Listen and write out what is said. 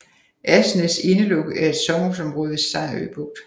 Asnæs Indelukke er et sommerhusområde ved Sejerø Bugt